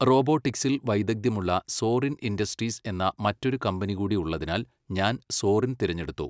റോബോട്ടിക്സിൽ വൈദഗ്ധ്യമുള്ള Zorin Industries എന്ന മറ്റൊരു കമ്പനി കൂടി ഉള്ളതിനാൽ ഞാൻ സോറിൻ തിരഞ്ഞെടുത്തു.